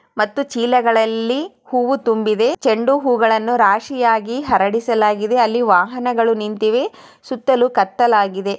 ಮತ್ತು ಚೀಲಗಳಲ್ಲಿ ಹೂವು ತುಂಬಿವೆ ಚೆಂಡು ಹೂವು ಗಳನ್ನು ರಾಶಿಯಾಗಿ ಹರಡಿಸಲಾಗಿದೆ ಅಲ್ಲಿ ವಾಹನಗಳು ನಿಂತಿವೆ ಸುತ್ತಲೂ ಕತ್ತಲಾಗಿದೆ.